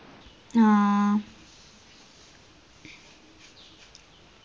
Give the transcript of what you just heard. ആ